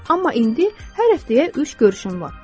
Amma indi hər həftəyə üç görüşüm var.